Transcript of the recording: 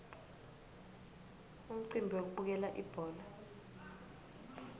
umcimbi wekubukela ibhola